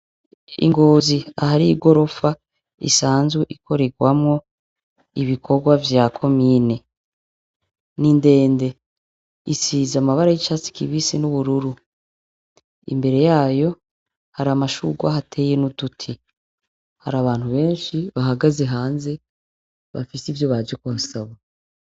I Ngozi, ahari igorofa isanzwe ikorerwamwo ibikorwa vya Komine ni ndende, isize amabara y'icatsi kibisi n'ubururu. Imbere yayo, hari amashurwe ahateye n'uduti. Hari abantu benshi bahagaze hanze bafise ivyo baje nkusaba.